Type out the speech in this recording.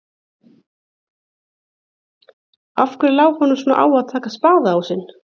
Og af hverju lá honum svona á að taka spaðaásinn?